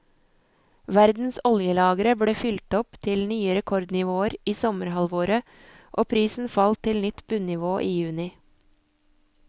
Verdens oljelagre ble fylt opp til nye rekordnivåer i sommerhalvåret og prisen falt til nytt bunnivå i juni.